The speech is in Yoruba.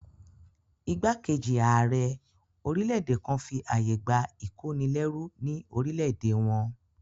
Ìgbákejì ààrẹ orílẹ̀-èdè kan fi àyè gbà ìkónilẹ́rú ní orílẹ̀-èdè wọn